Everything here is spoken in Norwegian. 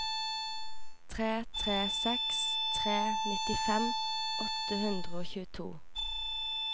tre tre seks tre nittifem åtte hundre og tjueto